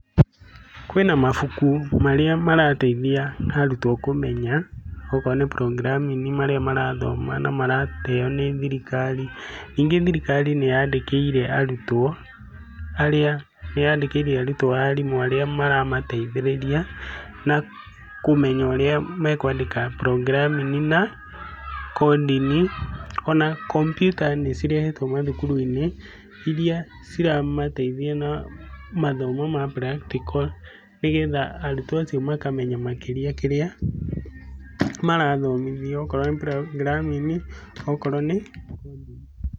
Kwĩna mabuku marĩ marateithia arutwo kũmenya akorwo nĩ programming marĩa marathoma na maraheo nĩ thirikari. Ningĩ thirikari nĩ yandĩkiire arutwo arĩa, nĩ yandĩkiire arutwo arimũ arĩa maramateithĩrĩria na kũmenya ũrĩa mekwandĩka programming na coding. Ona kompiuta nĩ cirehetwo mathukuru-inĩ iria ciramateithia na mathomo ma practical, nĩ getha arutwo acio makamenya makĩria kĩrĩa marathomithio, okorwo nĩ programming okorwo nĩ coding.